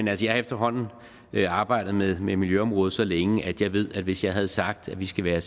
jeg har efterhånden arbejdet med miljøområdet så længe at jeg ved at hvis jeg havde sagt at vi skal være